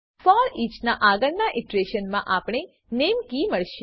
foreach ના આગળના iteration મા આપણને નામે કી મળશે